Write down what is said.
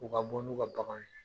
U ka bɔ n'u ka baganw ye